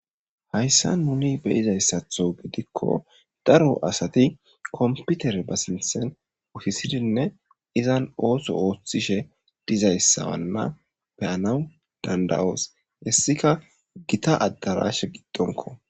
hayssa nuni beyizayssatho gidikko daro asati komputere ba sinthen utisidinne izan ooso ooththishe dizayssawanna peyanawu danda7oos hessika gita addarashe giddonko